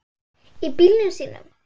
Í bílunum sínum.